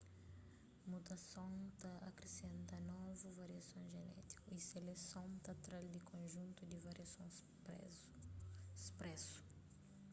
mutason ta akrisenta novu variason jenétiku y seleson ta tra-l di konjuntu di variason spresu